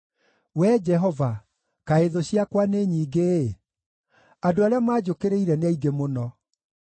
Wee Jehova, kaĩ thũ ciakwa nĩ nyingĩ-ĩ! Andũ arĩa manjũkĩrĩire nĩ aingĩ mũno!